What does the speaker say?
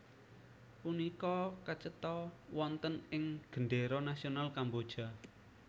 Punika kacetha wonten ing gendéra nasional Kamboja